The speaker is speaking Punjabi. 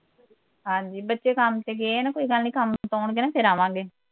ਹਾਂਜੀ ਬੱਚੇ ਕੰਮ ਤੇ ਗਏ ਐ ਨਾ ਕੋਈ ਗੱਲ ਨੀ ਕੰਮ ਤੋਂ ਆਉਣਗੇ ਨਾ ਫੇਰ ਆਵਾਂਗੇ